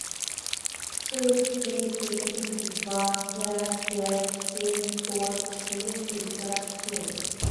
шесть двести тридцать два пять пять семь сорок четыре пятьдесят семь